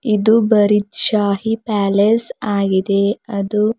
ಇದು ಬರೀದ್ ಶಾಹಿ ಪ್ಯಾಲೇಸ್ ಆಗಿದೆ ಅದು--